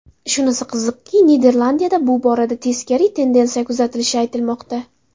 Shunisi qiziqki, Niderlandiyada bu borada teskari tendensiya kuzatilishi aytilmoqda.